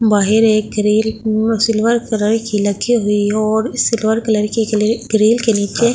बाहेर एक ग्रील उ सिल्वर कलर की लखी हुई हो और सिल्वर कलर की लेक ग्रील के नीचे --